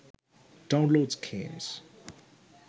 downloads games